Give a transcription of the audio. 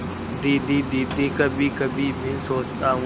दीदी दीदी कभीकभी मैं सोचता हूँ